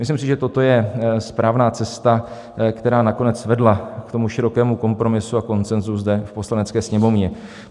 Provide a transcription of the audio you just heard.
Myslím si, že toto je správná cesta, která nakonec vedla k tomu širokému kompromisu a konsenzu zde v Poslanecké sněmovně.